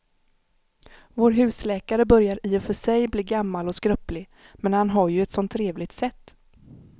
Vår husläkare börjar i och för sig bli gammal och skröplig, men han har ju ett sådant trevligt sätt!